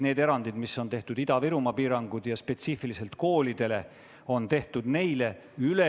Need erandid, mis on tehtud Ida-Virumaale ja spetsiifiliselt koolidele, on tehtud neile.